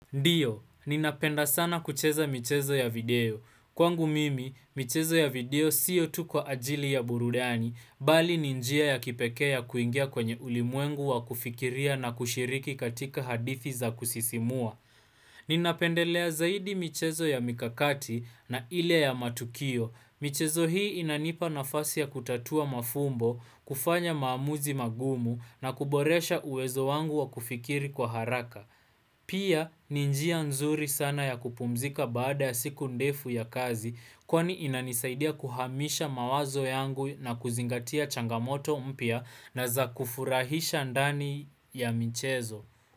Ndio, ninapenda sana kucheza michezo ya video. Kwangu mimi, michezo ya video sio tu kwa ajili ya burudani, bali ni njia ya kipekee kuingia kwenye ulimwengu wa kufikiria na kushiriki katika hadithi za kusisimua. Ninapendelea zaidi michezo ya mikakati na ile ya matukio. Michezo hii inanipa nafasi ya kutatua mafumbo, kufanya maamuzi magumu na kuboresha uwezo wangu wa kufikiri kwa haraka. Pia ni njia nzuri sana ya kupumzika baada siku ndefu ya kazi kwani inanisaidia kuhamisha mawazo yangu na kuzingatia changamoto mpya na za kufurahisha ndani ya michezo.